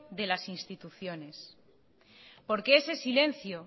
de las instituciones porque ese silencio